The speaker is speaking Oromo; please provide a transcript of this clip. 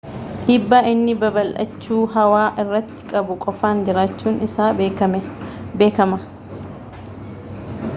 dhiibbaa inni babaldhachuu hawaa irratti qabu qofaan jiraachuun isaa beekama